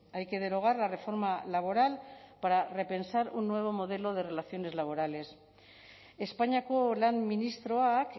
hay que derogar la reforma laboral para repensar un nuevo modelo de relaciones laborales espainiako lan ministroak